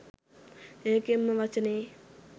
ඒකෙන්ම වචනෙ